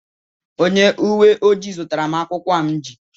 Onye uwe ojii zụtara m akwụukwọ a m ji